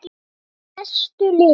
Bestu liðin?